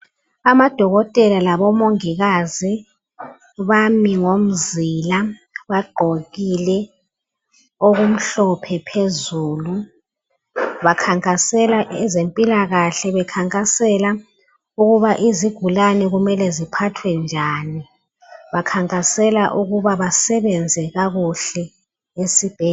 Amadokotela labomongikazi bami ngomzila bagqokile okumhlophe phezulu bakhankasela ezempilakahle bekhankasela ukuba izigulane kumele ziphathwe njani bakhankasela ukuba basebenze kakuhle esibhedlela.